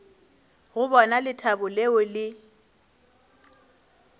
go bona lethabo leo le